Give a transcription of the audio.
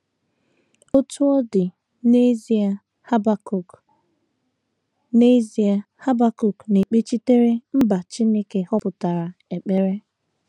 Otú ọ dị, n’ezie, Habakuk n’ezie, Habakuk na - ekpechitere mba Chineke họpụtara ekpere.